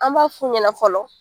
An b'a f'u ɲɛna fɔlɔ